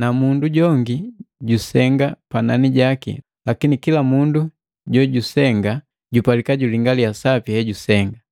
na mundu jongi jusenga panani jaki lakini kila mundu jojusenga jupalika julingaliya sapi hejusenga.